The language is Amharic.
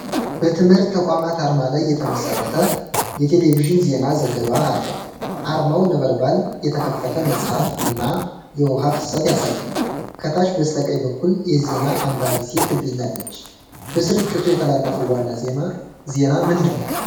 በትምህርት ተቋም አርማ ላይ የተመሰረተ የቴሌቪዥን ዜና ዘገባ አለ። አርማው ነበልባል፣ የተከፈተ መጽሐፍ፣ እና የውሃ ፍሰት ያሳያል። ከታች በስተቀኝ በኩል የዜና አንባቢ ሴት ትገኛለች። በስርጭቱ የተላለፈው ዋና ዜና ምንድነው?